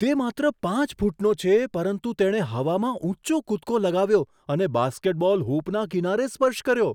તે માત્ર પાંચ ફૂટનો છે પરંતુ તેણે હવામાં ઊંચો કૂદકો લગાવ્યો અને બાસ્કેટબોલ હૂપના કિનારે સ્પર્શ કર્યો.